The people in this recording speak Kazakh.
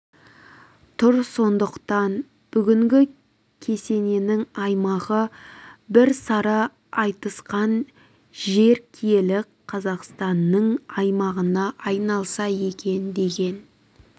тұр сондықтан бүгінгі кесенесінің аймағы біржан сара айтысқан жер киелі қазақстанның аймағына айналса екен деген